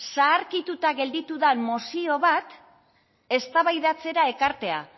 zaharkituta gelditu den mozio bat eztabaidatzera ekartzea